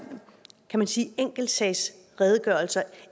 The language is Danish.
enkeltsagsredegørelser